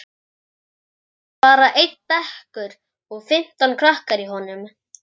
Það var bara einn bekkur og fimmtán krakkar í honum.